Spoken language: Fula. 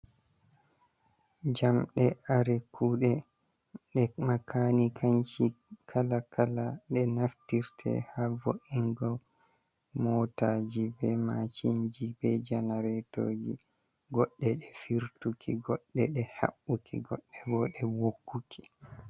Jamde kare kuɗe ɗe makani kanki kala kala, de naftirte ha vo’ingo motaji, be macinji, be janaretoji, goɗɗe ɗe firtuki, goɗɗe ɗe haɓɓuki, goɗɗe bo ɗe ɓokkuki.